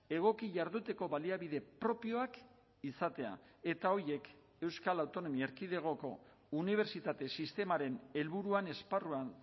egoki jarduteko baliabide propioak izatea eta horiek euskal autonomia erkidegoko unibertsitate sistemaren helburuan esparruan